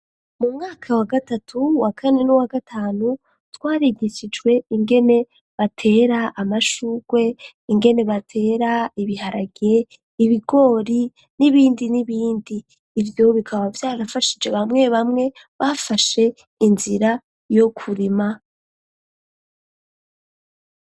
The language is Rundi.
Mu mwaka wa gatatu, wa kane, n'u wa gatanu; twarigishijwe, ingene batera, amashurwe, ingene batera ibiharage, ibigori, n'ibindi n'ibindi; ivyo bikaba, vyarafashije, bamwe bamwe, bafashe inzira yo kurima.